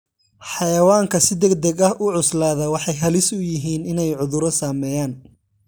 Xayawaanka si degdeg ah u cuslaadaa waxay halis u yihiin inay cudurro saameeyaan.